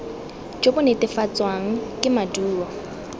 jo bo netefatswang ke maduo